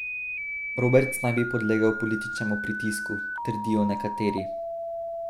Roberts naj bi podlegel političnemu pritisku, trdijo nekateri.